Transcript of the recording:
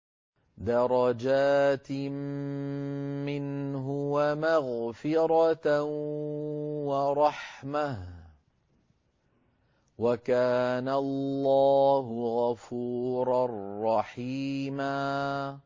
دَرَجَاتٍ مِّنْهُ وَمَغْفِرَةً وَرَحْمَةً ۚ وَكَانَ اللَّهُ غَفُورًا رَّحِيمًا